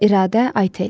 İradə, Aytel.